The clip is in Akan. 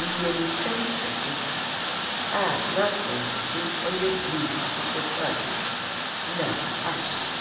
Ewiemuhyɛn kɛse aa n'ahyɛnso dze ɔyɛ blu akokɔ srade nna ahye aa